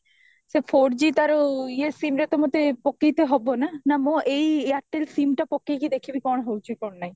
four g ତାର ଇଏ SIM ରେ ତ ମତେ ପକେଇ ତ ହବ ନା ନା ମୋ ଏଇ ଏୟାରଟେଲ SIM ଟା ପକେଇକି ଦେଖିବି କଣ ହଉଚି କଣ ନାହିଁ